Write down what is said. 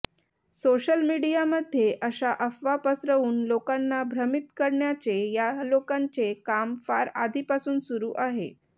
social मीडियामध्ये अशा अफवा पसरवून लोकांना भ्रमित करण्याचे यालोकांचे काम फार आधी पासून सुरू आहे